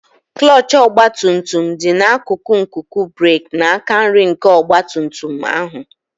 Klọọchị ọgba tum tum dị n'akụkụ nkuku breeki n'aka nri nke ọgba tum tum ahụ.